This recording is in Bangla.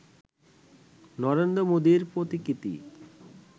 নরেন্দ্র মোদির প্রতিকৃতি